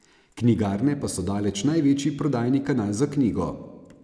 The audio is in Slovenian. Knjigarne pa so daleč največji prodajni kanal za knjigo.